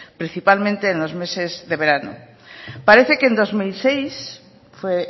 principalmente en los meses de verano parece que en dos mil seis fue